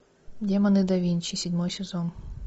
демоны да винчи седьмой сезон